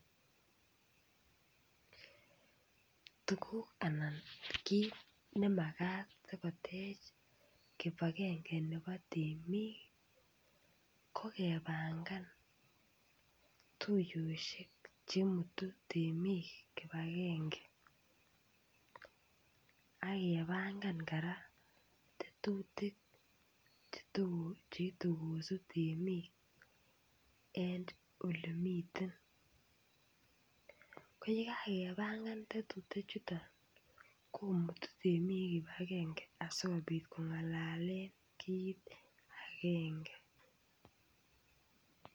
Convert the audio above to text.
Tuguk anan kiit nemakat sikoteech kibagenge nebo temik ko kepangan tuyoshek chemutu temik kipagenge akepangan kora tetutik cheite kosuut emet en yemite. Ko yekakepangan tetutichuto komutun temik kipagenge asikong'alalen kiit agenge.